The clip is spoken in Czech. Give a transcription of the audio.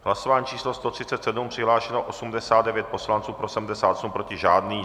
Hlasování číslo 137, přihlášeno 89 poslanců, pro 78, proti žádný.